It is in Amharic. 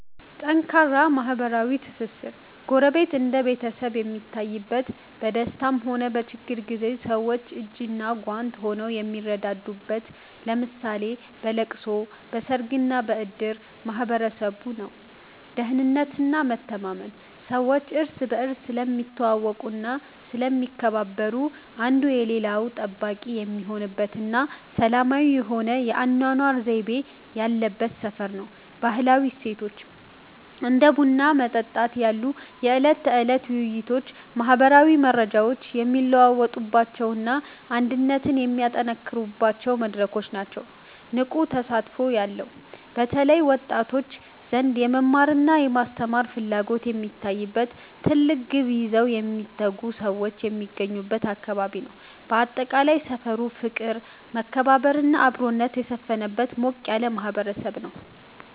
ጠንካራ ማህበራዊ ትስስር፦ ጎረቤት እንደ ቤተሰብ የሚታይበት፣ በደስታም ሆነ በችግር ጊዜ ሰዎች እጅና ጓንት ሆነው የሚረዳዱበት (ለምሳሌ በለቅሶ፣ በሰርግና በእድር) ማህበረሰብ ነው። ደህንነትና መተማመን፦ ሰዎች እርስ በርስ ስለሚተዋወቁና ስለሚከባበሩ፣ አንዱ የሌላው ጠባቂ የሚሆንበትና ሰላማዊ የሆነ የአኗኗር ዘይቤ ያለበት ሰፈር ነው። ባህላዊ እሴቶች፦ እንደ ቡና መጠጣት ያሉ የዕለት ተዕለት ውይይቶች ማህበራዊ መረጃዎች የሚለዋወጡባቸውና አንድነት የሚጠናከርባቸው መድረኮች ናቸው። ንቁና ተስፋ ያለው፦ በተለይ በወጣቶች ዘንድ የመማርና የመስራት ፍላጎት የሚታይበት፣ ትልቅ ግብ ይዘው የሚተጉ ሰዎች የሚገኙበት አካባቢ ነው። ባጠቃላይ፣ ሰፈሩ ፍቅር፣ መከባበርና አብሮነት የሰፈነበት ሞቅ ያለ ማህበረሰብ ነው።